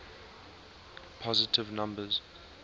positive numbers